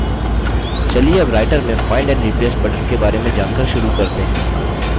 चलिए अब राइटर में find and replace बटन के बारे में जानकर शुरू करते हैं